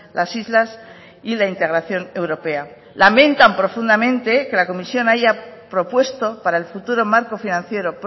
las islas y la integración europea lamentan profundamente que la comisión haya propuesto para el futuro marco financiero